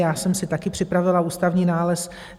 Já jsem si taky připravila ústavní nález.